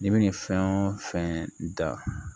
N'i bɛ nin fɛn o fɛn da